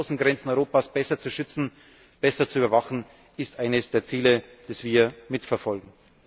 müssen. Das heißt, die Außengrenzen Europas besser zu schützen, besser zu überwachen, ist eines der Ziele, die wir mitverfolgen.